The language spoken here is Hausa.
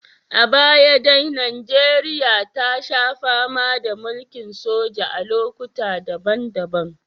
A baya dai Najeriya ta sha fama da mulkin soja a lokuta daban-daban